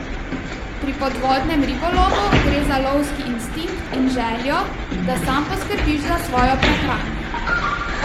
Pri podvodnem ribolovu gre za lovski instinkt in željo, da sam poskrbiš za svojo prehrano.